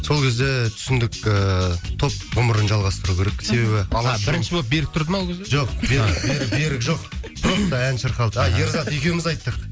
сол кезде түсіндік ііі топ ғұмырын жалғастыру керек себебі а бірінші болып берік тұрды ма ол кезде жоқ берік берік жоқ просто ән шырқалды а ерзат екеуміз айттық